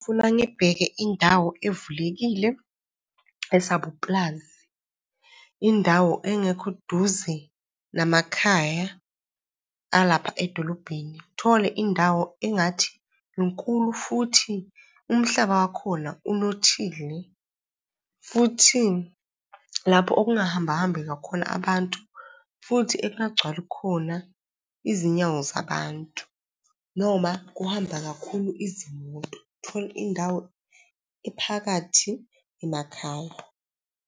Ufuna ngibheke indawo evulekile esabupulazi. Indawo engekho duze namakhaya alapha edolobheni. Uthole indawo engathi inkulu, futhi umhlaba wakhona unothile, futhi lapho okungahamba hambi kakhulu abantu, futhi ekungagcwali khona izinyawo zabantu noma kuhamba kakhulu izimoto. Uthole indawo ephakathi emakhaya.